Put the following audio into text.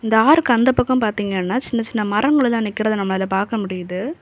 இந்த ஆறுக்கு அந்த பக்கம் பாத்தீங்கன்னா சின்ன சின்ன மரங்களெல்லாம் நிக்கறத நம்மளால பாக்க முடியுது.